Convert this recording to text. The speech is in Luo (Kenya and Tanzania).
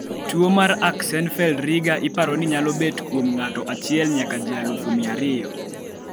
tuo mar Axenfeld-Rieger iparo ni nyalo bet kuom ng'ato achiel nyaka ji alugu mia ariyo